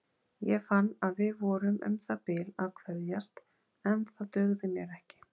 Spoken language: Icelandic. Ég fann að við vorum um það bil að kveðjast en það dugði mér ekki.